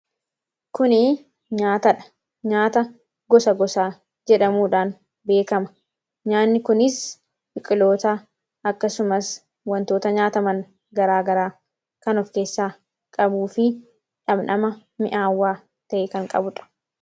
Kuni nyaata dha. Nyaata gosa gosaa jedhamuudhaan beekama. Nyaanni kunis biqiloota akkasumas wantoota nyaataman garaagaraa kan of keessaa qabuu fi dhandhama mi'aawwaa ta'e kan qabuudha.